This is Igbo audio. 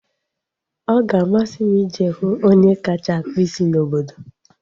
Ọ ga-amasị m ije hụ onye kacha akpụ isi n'obodo